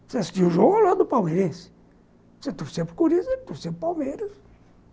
Você assistia o jogo lá do Palmeirense, você torcia para o Corinthians, você torcia para Palmeiras.